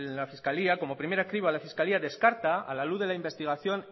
la fiscalía como primera criba la fiscalía descarta a la luz de la investigación